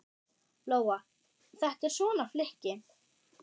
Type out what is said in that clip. Lóa: Þetta er svona flykki?